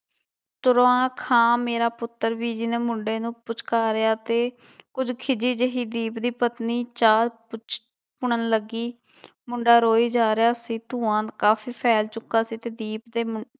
ਤੁਰਾਂ ਖਾਂ ਮੇਰਾ ਪੁੱਤਰ ਬੀਜੀ ਨੇ ਮੁੰਡੇ ਨੂੰ ਪੁਚਕਾਰਿਆ ਤੇ ਕੁੱਝ ਖਿੱਝੀ ਜਿਹੀ ਦੀਪ ਦੀ ਪਤਨੀ ਚਾਹ ਪੁਛ ਪੁਣਨ ਲੱਗੀ ਮੁੰਡਾ ਰੋਈ ਜਾ ਰਿਹਾ ਸੀ, ਧੂੰਆਂ ਕਾਫ਼ੀ ਫੈਲ ਚੁੱਕਾ ਸੀ ਤੇ ਦੀਪ ਦੇੇ ਮੁੰ